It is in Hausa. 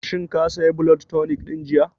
Shin ka saya blood tonic ɗin jiya?